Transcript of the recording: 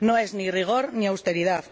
No es ni rigor ni austeridad.